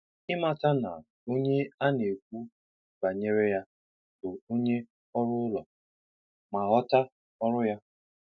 Ịmata na onye a n'ekwu banyere ya bụ onye ọrụ ụlọ, ma ghọta ọrụ ha.